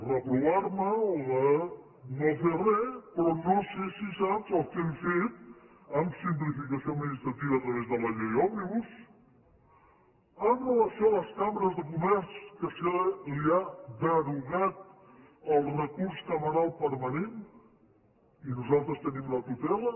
reprovar me o de no fer res però no sé si saps el que hem fet en simplificació administrativa a través de la llei òmnibus amb relació a les cambres de comerç que se li ha derogat el recurs cameral permanent i nosaltres en tenim la tutela